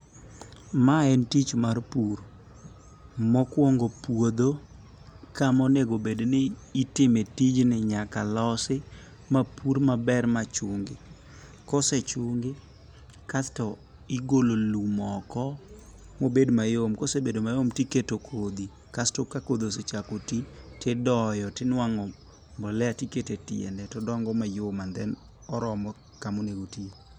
Mae en tich mar pur. Mokuongo puodho kama onego bedni itime tijni nyaka losi mapur maber ma chungi. Ka ose chungi kasto igolo lum oko mobed mayom. Kose bedo mayom to ikete kodhi kasto ka kodhi osechako ti to idoyo to iinuang'o mbolea to iketo etiende to odongo mayom and then oromo kama onego oti